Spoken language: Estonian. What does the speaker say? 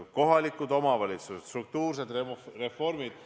Kohalikud omavalitsused, struktuursed reformid.